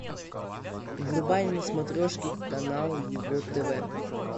врубай на смотрешке канал его тв